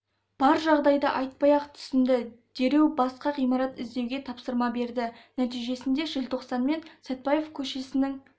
бар жағдайды айтпай-ақ түсінді дереу басқа ғимарат іздеуге тапсырма берді нәтижесінде желтоқсан мен сәтбаев көшесінің